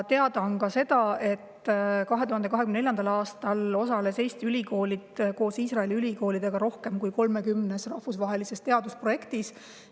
Teada on ka see, et 2024. aastal osalesid Eesti ülikoolid koos Iisraeli ülikoolidega rohkem kui 30 rahvusvahelises teadusprojektis.